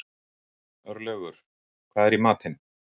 Örlaugur, hvað er í matinn?